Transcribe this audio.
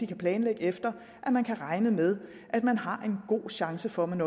kan planlægge efter at man kan regne med at man har en god chance for at man